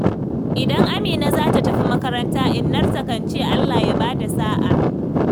Idan Amina za ta tafi makaranta, Innarta kan ce 'Allah ya ba da sa'a'.